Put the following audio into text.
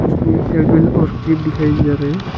इसमें से बिल और क्लिप दिखाया जा रहा है।